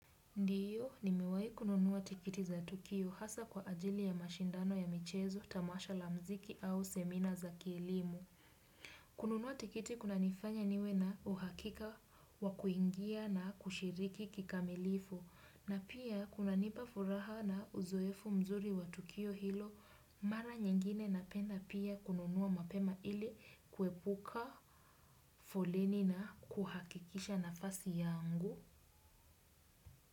Ndiyo, nimewai kununuwa tikiti za tukio hasa kwa ajili ya mashindano ya michezo, tamasha la mziki au semina za kilimu. Kununua tikiti kuna nifanya niwe na uhakika wakuingia na kushiriki kikamilifu. Na pia, kuna nipa furaha na uzoefu mzuri wa tukio hilo, mara nyingine napenda pia kununua mapema ili kuepuka, foleni na kuhakikisha nafasi yangu.